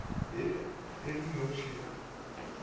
ya e le noši ya